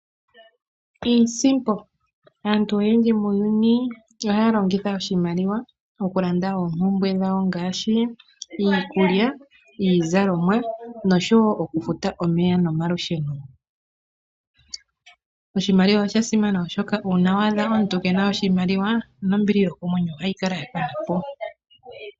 Aantu oyendji muuyuni ohaya longitha oshimaliwa mokulanda oompumbwe dhawo ngaashi iikulya, iizalomwa noshowo okufuta omeya nomalusheno. Oshimaliwa osha simana oshoka uuna wa adha omuntu kena oshimaliwa nombili yokomwenyo ohayi kala ya kanapo.